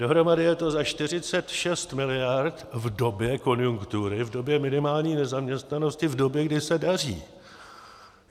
Dohromady je to za 46 mld. v době konjunktury, v době minimální nezaměstnanosti, v době, kdy se daří.